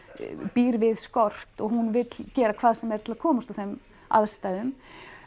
býr við skort og hún vill gera hvað sem er til að komast úr þeim aðstæðum